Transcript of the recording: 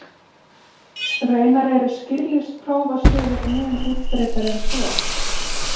Raunar eru skírlífsprófasögur mun útbreiddari en svo.